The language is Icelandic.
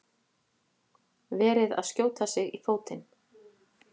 Verið að skjóta sig í fótinn